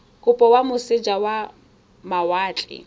kopo kwa moseja wa mawatle